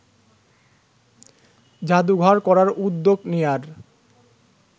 জাদুঘর করার উদ্যোগ নেয়ার